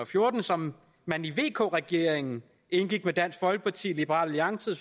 fjorten som man i vk regeringen indgik med dansk folkeparti liberal alliance